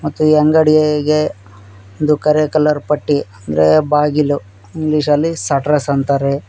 ಮತ್ತು ಈ ಅಂಗಡಿಗೆ ಒಂದು ಕರೆ ಕಲರ್ ಪಟ್ಟಿ ಅಂದ್ರೆ ಬಾಗಿಲು ಇಂಗ್ಲಿಷ್ ಅಲ್ಲಿ ಸ್ಟಟಸ್ ಅಂತಾರೆ.